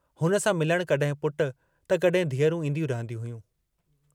हुन सां मिलण कहिं पुट त कहिं धीअरूं ईन्दियूं रहंदियूं हुयूं।